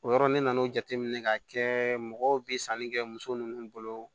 O yɔrɔ ni nana o jateminɛ k'a kɛ mɔgɔw bi sanni kɛ muso ninnu bolo